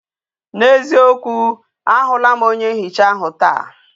N'eziokwu ahu la m onye nhicha ahu taa